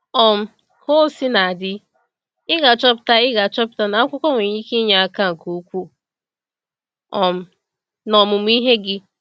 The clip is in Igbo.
um Ka o sina dị, ị ga-achọpụta ị ga-achọpụta na akwụkwọ nwere ike inye aka nke ukwuu um n’omụmụ ihe gị.